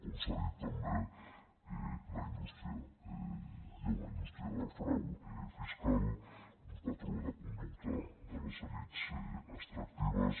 com s’ha dit també la indústria hi ha una indústria del frau fiscal un patró de conducta de les elits extractives